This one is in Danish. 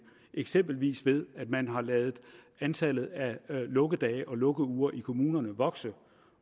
eksempelvis ved at man har ladet antallet af lukkedage og lukkeuger i kommunerne vokse